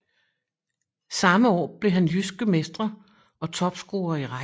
Samme år blev han jydske mestre og topscorer i rækken